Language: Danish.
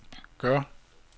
gør